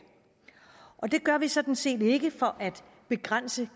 og det gør vi sådan set ikke for at begrænse